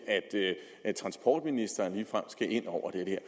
at transportministeren ligefrem skal ind over det